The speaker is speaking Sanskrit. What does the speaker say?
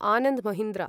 आनन्द् महीन्द्र